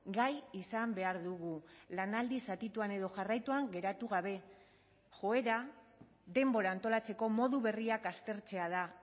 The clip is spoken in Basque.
gai izan behar dugu lanaldi zatituan edo jarraituan geratu gabe joera denbora antolatzeko modu berriak aztertzea da